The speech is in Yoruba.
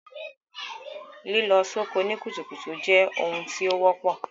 Lílọ soko ni kùtùkùtù je oun tí o wọ́pọ̀